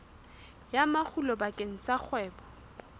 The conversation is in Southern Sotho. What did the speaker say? ya makgulo bakeng sa kgwebo